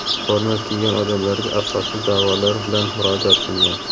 forma kiygan odamlarga asossiz da’volar bilan murojaat qilgan.